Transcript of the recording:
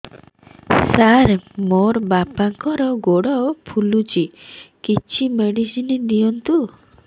ସାର ମୋର ବାପାଙ୍କର ଗୋଡ ଫୁଲୁଛି କିଛି ମେଡିସିନ ଦିଅନ୍ତୁ